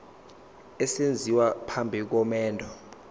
esenziwa phambi komendo